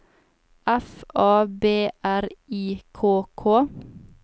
F A B R I K K